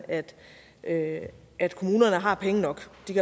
at at kommunerne har penge nok